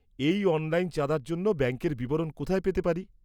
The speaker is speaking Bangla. -এই অনলাইন চাঁদার জন্য ব্যাঙ্কের বিবরণ কোথায় পেতে পারি?